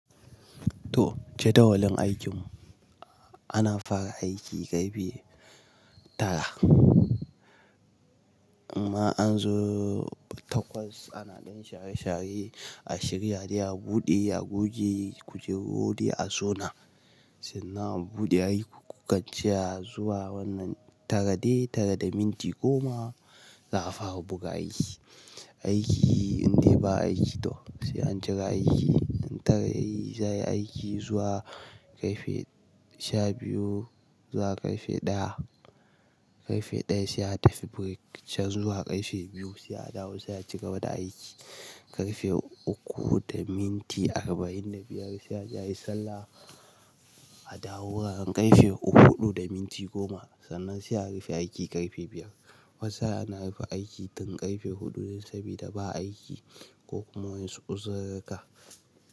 To jadawalin aikin mu ana fara aiki ƙarfe tara amma an zo takwas ana ɗan share share a shirya dai a buɗe, a goge, ku je gode a sona sannan a buɗe aiki ku kaciya zuwa wannan tara dai tara da minti goma za a fara buga aiki. Aiki in dai ba aiki to sai an cire aiki. In tare aiki za a yi aiki zuwa ƙarfe sha biyu zuwa ƙarfe ɗaya. Ƙarfe ɗaya sai a tafi break can zuwa ƙarfe biyu sai a dawo sai a cigaba da aiki. Ƙarfe uku da minti arba'in da biyar sai a je yi sallah a dawo ran ƙarfe uku huɗu da minti goma sannan sai a rufe aiki ƙarfe biyar. Wasu ana rufe aiki tun ƙarfe huɗu ne saboda ba aiki ko kuma wai su uzirga ka.